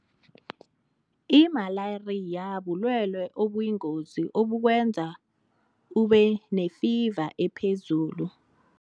Imalariya bulwele obuyingozi obukwenza ubenefiva ephezulu.